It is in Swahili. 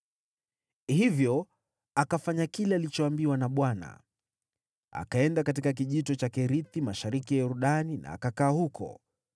Hivyo akafanya kile alichoambiwa na Bwana . Akaenda katika Kijito cha Kerithi, mashariki ya Yordani na akakaa huko.